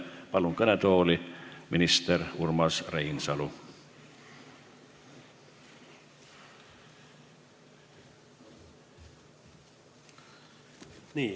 Palun kõnetooli minister Urmas Reinsalu!